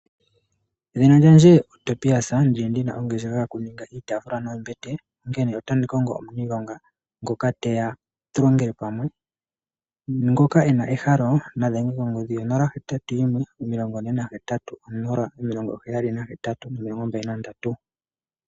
Edhina lyandje oTobias, ndili ndina ongeshefa yokuninga iitafula noombete, onkene otandi kongo omuniilonga, ngoka teya tulongele pamwe. Ngoka e na ehalo nadhenge konomola, 0814807823.